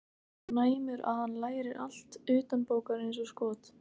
Hann er svo næmur að hann lærir allt utanbókar eins og skot.